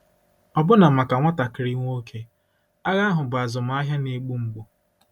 Ọbụna maka nwatakịrị nwoke, agha ahụ bụ azụmahịa na-egbu mgbu.